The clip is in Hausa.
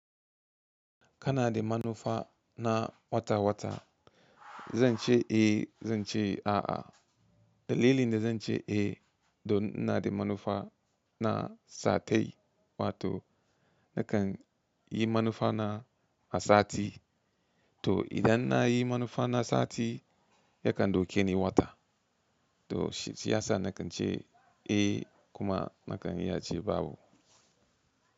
Kana da manufa na wata-wata. Zan ce eh, zan ce a'a. Dalilin da zan ce eh, to in ina da manufa na sa kai wato nakan yi manufa na a sati. To idan na yi manufa na sati, yakan dauke ni wata. To shiyasa nakan ce eh kuma nakan ya ce babu.